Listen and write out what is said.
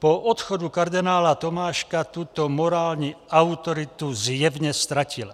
Po odchodu kardinála Tomáška tuto morální autoritu zjevně ztratila.